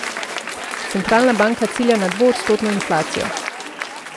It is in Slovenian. Centralna banka cilja na dvoodstotno inflacijo.